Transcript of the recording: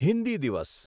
હિન્દી દિવસ